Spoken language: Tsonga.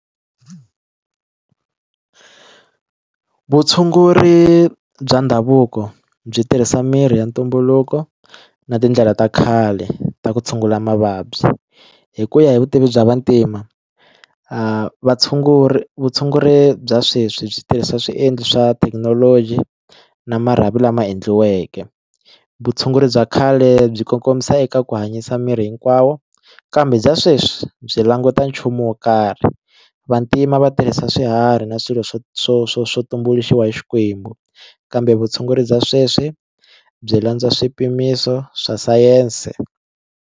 Vutshunguri bya ndhavuko byi tirhisa mirhi ya ntumbuluko na tindlela ta khale ta ku tshungula mavabyi hi ku ya hi vutivi bya vantima vatshunguri vutshunguri bya sweswi byi tirhisa swiendlo swa thekinoloji na marhavi lama endliweke vutshunguri bya khale byi kongomisa eka ku hanyisa miri hinkwawo kambe bya sweswi byi languta nchumu wo karhi vantima va tirhisa swiharhi na swilo swo swo swo swo tumbuluxiwa hi xikwembu kambe vutshunguri bya sweswi byi landza swipimiso swa sayense.